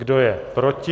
Kdo je proti?